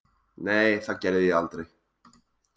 Nei, það gerði ég aldrei.